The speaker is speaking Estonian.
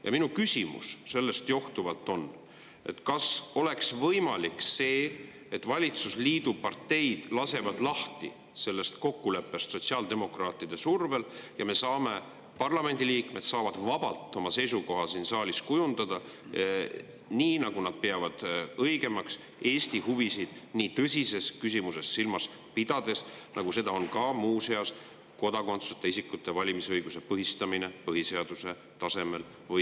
Ja minu küsimus sellest johtuvalt on: kas oleks võimalik, et valitsusliidu parteid lasevad lahti sellest sotsiaaldemokraatide survel kokkuleppest ja parlamendi liikmed saavad siin saalis vabalt kujundada oma seisukoha, nii nagu nad õigeks peavad, pidades silmas Eesti huvisid nii tõsises küsimuses, nagu seda on kodakondsuseta isikute valimisõiguse põhistamine põhiseaduse tasemel või …